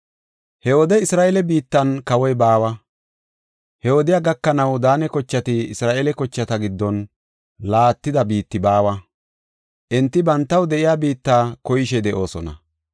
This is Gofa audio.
He wode Isra7eele biittan kawoy baawa. He wodey gakanaw Daane kochati Isra7eele kochata giddon laattida biitti baawa. Enti bantaw de7iya biitta koyishe de7oosona.